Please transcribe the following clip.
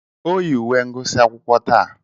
O yi uwe ngụsị akwụkwọ taa.